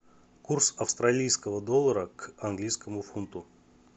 курс австралийского доллара к английскому фунту